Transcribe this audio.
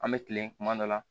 An bɛ kilen kuma dɔ la